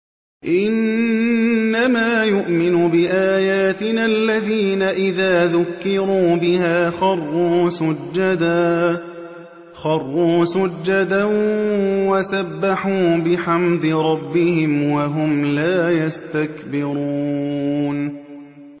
إِنَّمَا يُؤْمِنُ بِآيَاتِنَا الَّذِينَ إِذَا ذُكِّرُوا بِهَا خَرُّوا سُجَّدًا وَسَبَّحُوا بِحَمْدِ رَبِّهِمْ وَهُمْ لَا يَسْتَكْبِرُونَ ۩